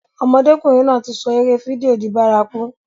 Ọmọdékùnrin náà ti sọ eré fídíò di bárakú.